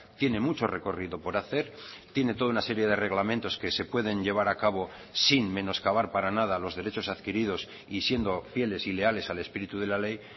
tiene mucho recorrido por hacer tiene toda una serie de reglamentos que se pueden llevar a cabo sin menoscabar para nada los derechos adquiridos y siendo fieles y leales al espíritu de la ley